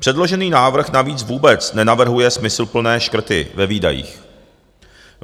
Předložený návrh navíc vůbec nenavrhuje smysluplné škrty ve výdajích.